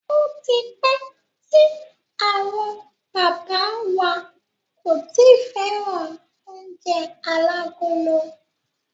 Ó ti pẹ́ tí àwọn bàbá wa kò ti fẹ́ràn oúnjẹ alágolo.